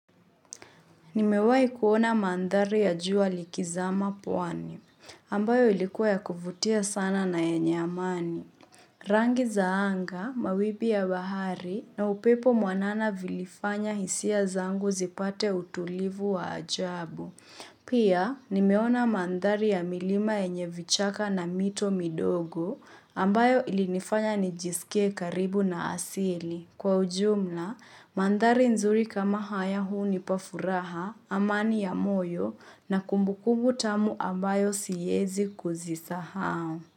Nimewai kuona mandhari ya jua likizama pwani, ambayo ilikuwa ya kuvutia sana na yenye amani. Rangi za anga, mawimbi ya bahari na upepo mwanana vilifanya hisia zangu zipate utulivu wa ajabu. Pia, nimeona mandhari ya milima yenye vichaka na mito midogo, ambayo ilinifanya nijisikie karibu na asili. Kwa ujumla, mandhari nzuri kama haya hunipa furaha, amani ya moyo na kumbukumbu tamu ambayo siezi kuzisahau.